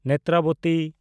Netravati